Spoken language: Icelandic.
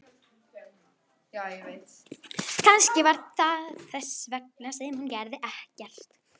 Kannski var það þess vegna sem hún gerði ekkert.